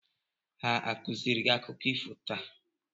Ha a kụziiri gị akụkọ ifo taa?